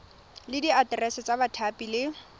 le diaterese tsa bathapi le